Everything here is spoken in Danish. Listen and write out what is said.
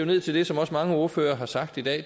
ned til det som mange ordførere har sagt i dag